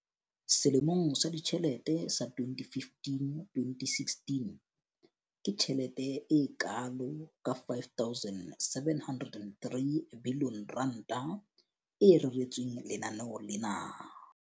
Selemong sa ditjhelete sa 2015-2016, ke tjhelete e kalo ka R5 703 bilione e reretsweng lenaneo lena.